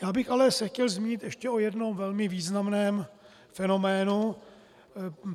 Já bych se ale chtěl zmínit ještě o jednom velmi významném fenoménu.